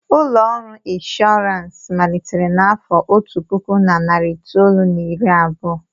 Ụlọ ọrụ inshọransị malitere n'afọ otu puku na narị itoolu na iri abụọ.